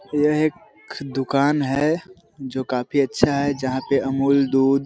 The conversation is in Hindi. यह एक दुकान है जो काफी अच्छा है जहाँ पे अमूल दूध--